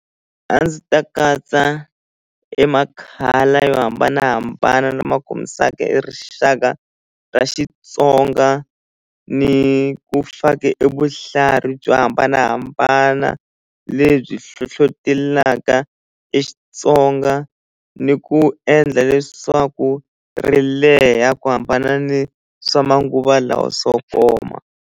A ndzi ta katsa e ma-colour yo hambanahambana lama khomisaka e rixaka ra Xitsonga ni ku faka e vuhlalu byo hambanahambana lebyi hlohlotelaka e Xitsonga ni ku endla leswaku ri leha ku hambana ni swa manguva lawa swo koma.